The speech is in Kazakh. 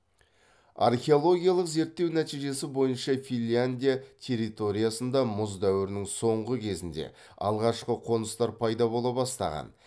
археологиялық зерттеу нәтижесі бойынша финляндия территориясында мұз дәуірінің соңғы кезінде алғашқы қоныстар пайда бола бастаған